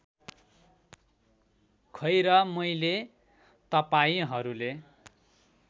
खैर मैले तपाईँंहरूले